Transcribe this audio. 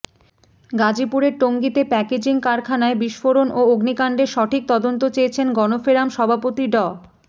গাজীপুরের টঙ্গীতে প্যাকেজিং কারখানায় বিস্ফোরণ ও অগ্নিকাণ্ডের সঠিক তদন্ত চেয়েছেন গণফেরাম সভাপতি ড